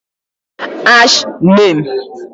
#NAME?